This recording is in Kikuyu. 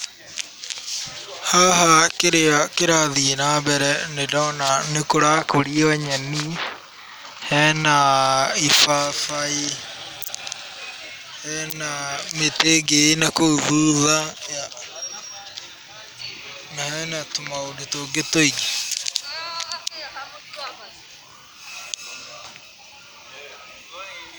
Haha kĩrĩa kĩrathiĩ na mbere nĩ ndona nĩ kũrakũrio nyeni, hena ibabaĩ, hena mĩtĩ ĩngĩ ĩ na kũu thutha, na hena tũmaũndũ tũngĩ tũingĩ.